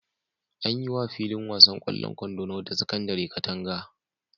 An yi wa filin wasan ƙwallon kwando na wata sakandare katanga.